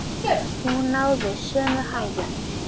Hún náði sömu hæðum!